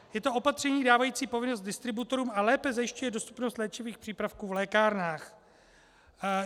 Je to opatření dávající povinnost distributorům a lépe zajišťuje dostupnost léčivých přípravků v lékárnách.